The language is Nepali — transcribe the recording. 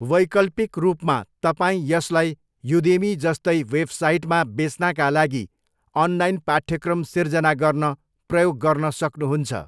वैकल्पिक रूपमा, तपाईँ यसलाई युदेमी जस्तै वेबसाइटमा बेच्नाका लागि अनलाइन पाठ्यक्रम सिर्जना गर्न प्रयोग गर्न सक्नुहुन्छ।